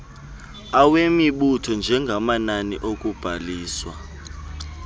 awemibutho njengamanani okubhaliswa